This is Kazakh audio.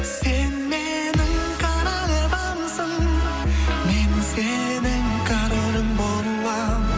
сен менің королевамсың мен сенің королің боламын